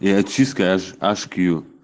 и очистка ашьбъюь